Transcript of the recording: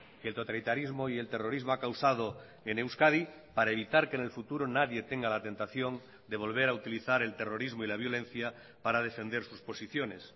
que el totalitarismo y el terrorismo ha causado en euskadi para evitar que en el futuro nadie tenga la tentación de volver a utilizar el terrorismo y la violencia para defender sus posiciones